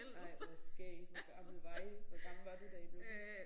Ej hvor skægt hvor gamle var I hvor gammel var du da I blev gift?